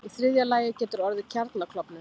Í þriðja lagi getur orðið kjarnaklofnun.